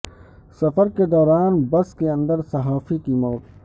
سفر کے دوران بس کے اندر صحافی کی موت